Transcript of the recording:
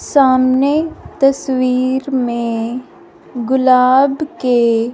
सामने तस्वीर में गुलाब के--